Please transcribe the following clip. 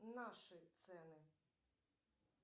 наши цены